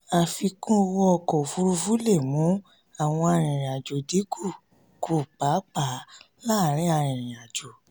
àfikún owó fún ọkọ̀ òfuurufú lè mú àwọn arìnrìn-àjò dín kù kù pàápàá láàárín arìnrìn-àjò.